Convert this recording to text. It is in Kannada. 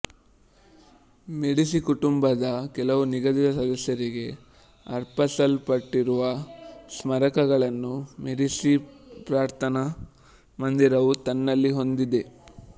ಮೆಡಿಸಿ ಕುಟುಂಬದ ಕೆಲವು ನಿಗದಿತ ಸದಸ್ಯರಿಗೆ ಅರ್ಪಿಸಲ್ಪಟ್ಟಿರುವ ಸ್ಮಾರಕಗಳನ್ನು ಮೆಡಿಸಿ ಪ್ರಾರ್ಥನಾ ಮಂದಿರವು ತನ್ನಲ್ಲಿ ಹೊಂದಿದೆ